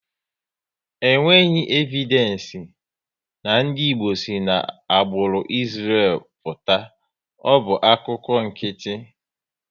E nweghị evidenci na ndị Igbo si n'agbụrụ Israël pụta, ọ bụ akụkọ nkịtị